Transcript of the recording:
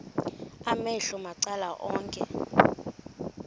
amehlo macala onke